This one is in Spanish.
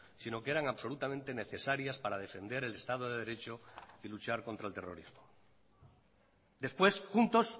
sino que eran absolutamente necesarias para defender el estado de derecho y luchar contra el terrorismo después juntos